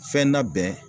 Fɛn na bɛn